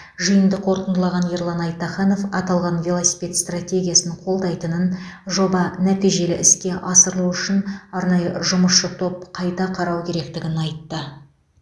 жиынды қорытындылаған ерлан айтаханов аталған велосипед стратегиясын қолдайтынын жоба нәтижелі іске асырылу үшін арнайы жұмысшы топ қайта қарау керектігін айтты